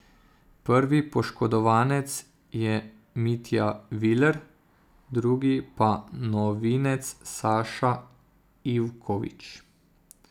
Prvi poškodovanec je Mitja Viler, drugi pa novinec Saša Ivković.